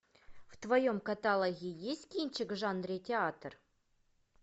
в твоем каталоге есть кинчик в жанре театр